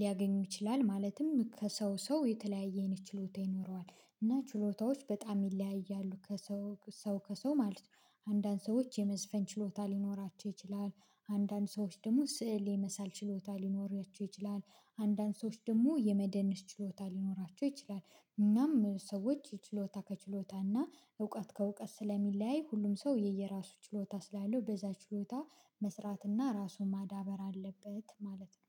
ሊያገኙ ይችላል ማለትም ከሰው ሰው የተለያየ አይነት ችሎታ ይኖረዋል እና ችሎታዎች በጣም ይለያያሉ ከሰው ሰው ከሰው ማለት ነው። አንዳንድ ሰዎች የመዝፈን ችሎታ ሊኖራቸው ይችላል። አንዳንድ ሰዎች ደግሞ ስዕል የመሳል ችሎታ ሊኖራቸው ይችላል። አንዳንድ ሰዎች ደግሞ የመደነስ ችሎታ ሊኖራቸው ይችላል። እናም ሰዎች ችሎታ ከችሎታና እውቀት ከእውቀት ስለሚለያይ ሁሉም ሰው የየራሱ ችሎታ ስላለው በዛ ችሎታ መስራትና ራሱን ማዳበር አለበት ማለት ነው